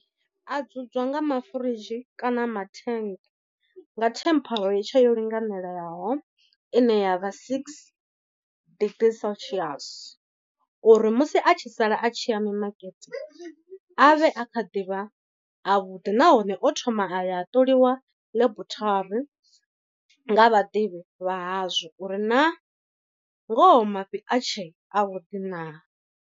A dzudzwa nga mafuridzhi kana mathennge, nga temperature yo linganelaho ine ya vha six degrees celsius. Uri musi a tshi sala a tshi ya mimakete a vhe a kha ḓivha a vhuḓi nahone o thoma a ya a ṱoliwa ḽebuthari nga vhaḓivhi vha hazwo uri naa ngoho mafhi a tshe a vhuḓi naa.